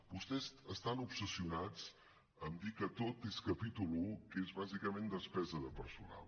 vostès estan obsessionats en dir que tot és capítol i que és bàsicament despesa de personal